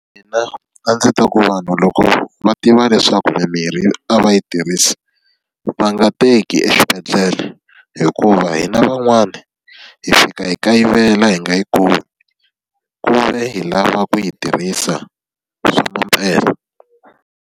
Mina a ndzi ta ku vanhu loko va tiva leswaku mimirhi a va yi tirhisi va nga teki exibedhlele, hikuva hina van'wana hi fika hi kayivela hi nga yi kumi, ku ve hi lava ku yi tirhisa swa mampela.